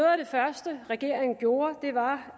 første regeringen gjorde var